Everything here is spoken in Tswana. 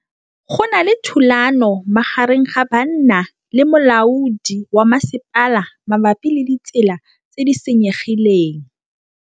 Go na le thulanô magareng ga banna le molaodi wa masepala mabapi le ditsela tse di senyegileng.